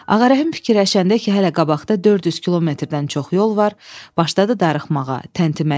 Ağarəhim fikirləşəndə ki, hələ qabaqda 400 kilometrdən çox yol var, başladı darıxmağa, təntiməyə.